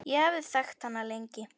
Ég hafði þekkt hana lengi.